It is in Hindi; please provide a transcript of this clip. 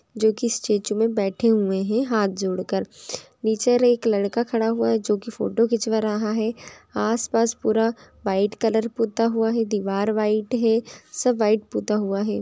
जो स्टैचू में बैठे हुए हैं हाथ जोड़कर नीचे एक लड़का खड़ा हुआ है जो की फोटो खिंचवा रहा है आसपास पूरा व्हाइट कलर पुता हुआ है दीवार व्हाइट है सब व्हाइट पुता हुआ है